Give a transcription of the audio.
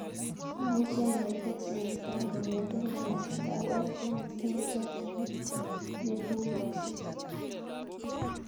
Amuchi anyor teksi en kaa kongeten nganaset ap westlands en chakyinet nepugaske